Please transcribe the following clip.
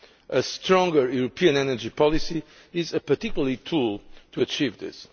A stronger European energy policy is a particularly important tool to help achieve this.